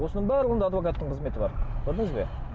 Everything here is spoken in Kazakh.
осының барлығында адвокаттың қызметі бар көрдіңіз бе